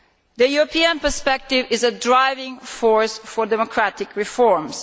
The European perspective is a driving force for democratic reforms.